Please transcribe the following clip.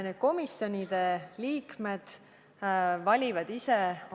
Sobiva komisjoni valivad liikmed endale ise.